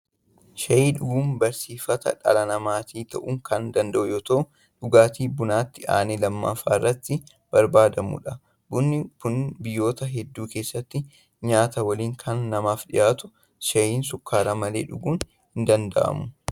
Shayii dhuguun barsiifata dhala namaatti ta'uu kan danda'u yoo ta'u, dhugaatii bunatti aanee lammaffaa irratti barbaadamudha. Bunni kun biyyoota hedduu keessatti nyaata waliin kan namaaf dhiyaatudha. Shayii shukkaaraan malee dhuguun hin danda'amu.